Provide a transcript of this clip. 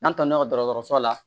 N'an taala dɔgɔtɔrɔso la